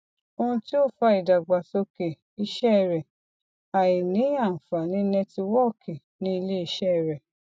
ohun tí ó fa aìdàgbàsókè iṣẹ rẹ àìní àfààní nẹtíwọọkì ní iléiṣẹ rẹ